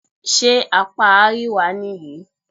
Ṣé apá àríwá nìyí?